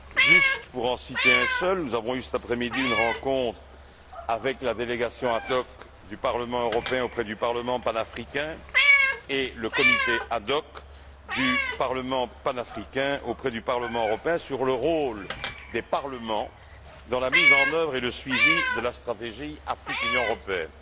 Juste pour en citer un seul, nous avons eu cet après midi une rencontre avec la délégation ad hoc du Parlement européen auprès du parlement panafricain et le comité ad hoc du parlement panafricain auprès du Parlement européen sur le rôle des parlements dans la mise en œuvre et le suivi de la stratégie Afrique Union européenne.